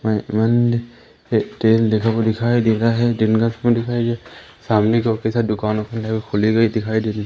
तेल देखोग दिखाई दे रहा है दिन का समय दिखाई दे सामने की दुकान है वो खुली हुई दिखाई दे रही--